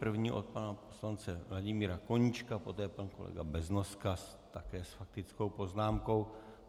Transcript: První od pana poslance Vladimíra Koníčka, poté pan kolega Beznoska, také s faktickou poznámkou.